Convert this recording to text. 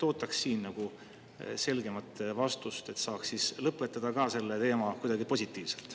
Ootaks siin selgemat vastust, et saaks siis lõpetada ka selle teema kuidagi positiivselt.